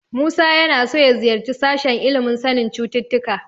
Musa yana so ya ziyarci sashen ilimin sanin cututtuka.